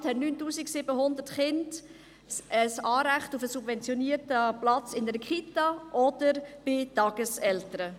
Insgesamt haben 9700 Kinder ein Anrecht auf einen subventionierten Platz in einer Kita oder bei Tageseltern.